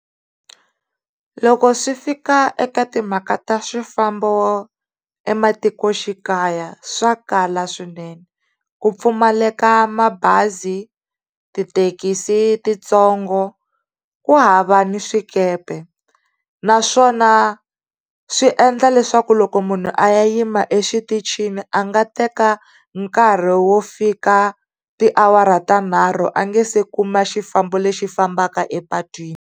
Loko swi fika eka timhaka ta swifambo ematikoxikaya swa kala swinene. Ku pfumaleka mabazi, tithekisi titsongo ku hava ni swikepe naswona swi endla leswaku loko munhu a ya yima exitichini a nga teka nkarhi wo fika tiawara ta nharhu a nga se kuma xifambo lexi fambaka epatwini.